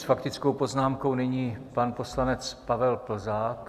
S faktickou poznámkou nyní pan poslanec Pavel Plzák.